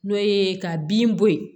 N'o ye ka bin bɔ ye